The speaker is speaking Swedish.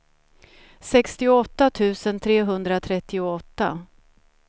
sextioåtta tusen trehundratrettioåtta